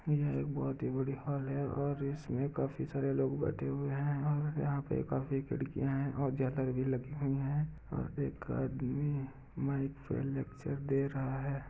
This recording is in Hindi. यह एक बहुत बड़ी हॉल है और इसमें काफी सारे लोग बैठे हुए हैं और यहाँ पे काफी खिड़किया है और ज्यादा भीड़ लगी हुई है और एक आदमी माइक पर लेक्चर दे रहा है।